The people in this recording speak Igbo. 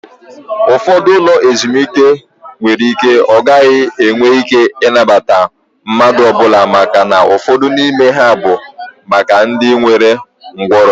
Ụfọdụ ụlọ ezumike nwere ike ọ gaghị enwe ike ịnabata mmadụ ọbụla màkà na ụfọdụ n'ime ha bụ maka ndị nwere nkwarụ